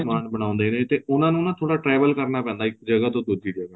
ਸਮਾਨ ਬਣਾਉਂਦੇ ਨੇ ਤੇ ਉਹਨਾਂ ਨੂੰ ਨਾ ਥੋੜਾ travel ਕਰਨਾ ਪੈਂਦਾ ਇੱਕ ਜਗ੍ਹਾ ਤੋਂ ਦੁੱਜੀ ਜਗ੍ਹਾ